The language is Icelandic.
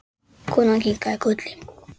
Hún skálaði fyrir því.